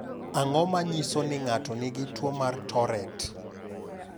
Ang’o ma nyiso ni ng’ato nigi tuwo mar Tourette?